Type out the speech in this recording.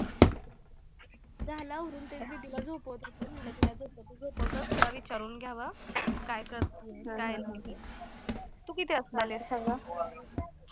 झालं आवरून ते मी दीदीला झोपवतं होती म्हंटलं तिला झोपवता झोपवता तुला विचारून घ्यावं, काय करते काय नाही, तू किती वाजता जाणार